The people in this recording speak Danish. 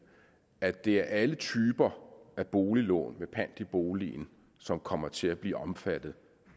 at det er alle typer af boliglån med pant i boligen som kommer til at blive omfattet